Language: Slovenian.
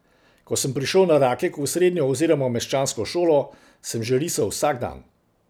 Ko sem prišel na Rakek v srednjo oziroma meščansko šolo, sem že risal vsak dan.